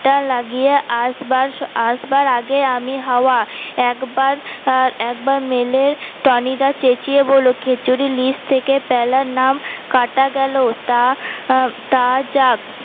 কাঁটা লাগিয়ে আসবা আসবার আগে আমি হাওয়া একবার মেলে টনি দা চেচিয়ে বলল খেছুরি লিস্ট থেকে পেলার নাম কাঁটা গেল